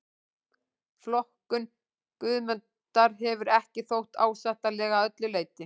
Flokkun Guðmundar hefur ekki þótt ásættanleg að öllu leyti.